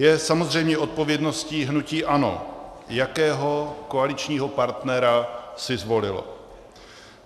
Je samozřejmě odpovědností hnutí ANO, jakého koaličního partnera si zvolilo.